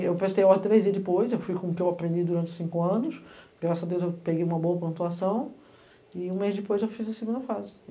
E eu prestei a ordem três dias depois, eu fui com o que eu aprendi durante cinco anos, graças a Deus eu peguei uma boa pontuação, e um mês depois eu fiz a segunda fase.